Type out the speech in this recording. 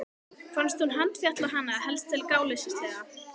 Fannst hún handfjatla hana helst til gáleysislega.